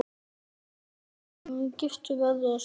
Ertu að fara strax aftur?